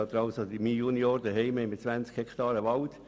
Wir haben zu Hause 20 Hektaren Wald.